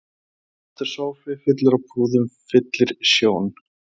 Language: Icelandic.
Svartur sófi fullur af púðum fyllir sjón